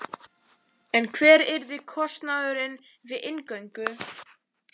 En hver yrði kostnaðurinn við inngöngu?